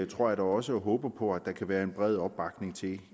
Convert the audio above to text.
tror jeg da også og håber på at der kan være en bred opbakning til